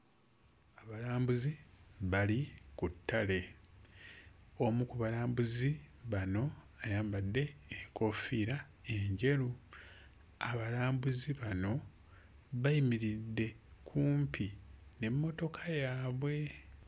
Abalambuzi bali ku ttale omu ku balambuzi bano ayambadde enkoofiira enjeru. Abalambuzi bano bayimiridde kumpi n'emmotoka yaabwe.